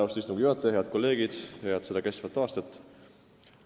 Austatud istungi juhataja ja head kolleegid, head seda kestvat aastat!